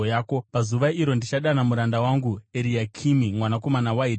“Pazuva iro ndichadana muranda wangu, Eriakimi mwanakomana waHirikia.